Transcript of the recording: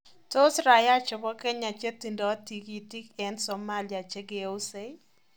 Tos raia chebo Kenya che tindoi tikitik eng Somalia che keusei?